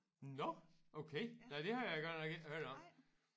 Nåh okay nej det har jeg godt nok ikke hørt om